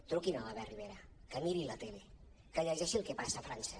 truqui’n a l’albert rivera que miri la tele que llegeixi el que passa a frança